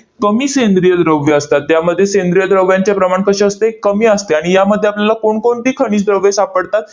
कमी सेंद्रिय द्रव्ये असतात. त्यामध्ये सेंद्रिय द्रव्यांचे प्रमाण कसे असते? कमी असते. आणि यामध्ये आपल्याला कोणकोणती खनिज द्रव्ये सापडतात?